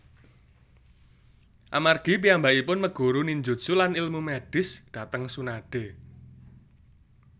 Amargi piyambakipun meguru ninjutsu lan ilmu medis dhateng Tsunade